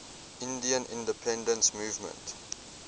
indian independence movement